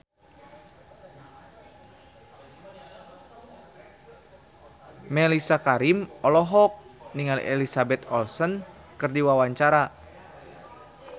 Mellisa Karim olohok ningali Elizabeth Olsen keur diwawancara